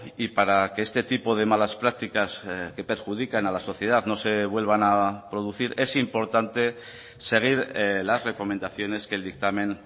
y para que este tipo de malas prácticas que perjudican a la sociedad no se vuelvan a producir es importante seguir las recomendaciones que el dictamen